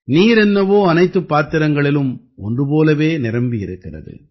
நீர் என்னவோ அனைத்துப் பாத்திரங்களிலும் ஒன்று போலவே இருக்கிறது